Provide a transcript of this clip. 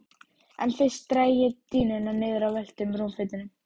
En fyrst dreg ég dýnuna niður af völtum rúmfótunum.